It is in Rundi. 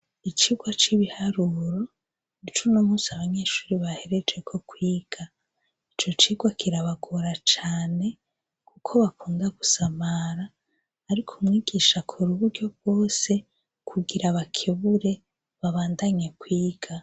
Icigwa c'ibiharuro, ic'uno munsi abanyeshuri baherejeko kwiga, ico cigwa kirabagora cane kuko bakunda gusamara, ariko umwigisha akora uburyo bwose kugira abakebure babandanye kwiga.